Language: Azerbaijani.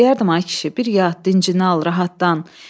Deyərdim ay kişi, bir yat, dincəl, rahatdan.